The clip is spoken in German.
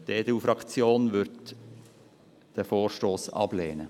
Die EDU-Fraktion wird diesen Vorstoss ablehnen.